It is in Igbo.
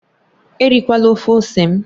Erikwala ofe ose m!